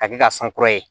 Ka kɛ ka san kura ye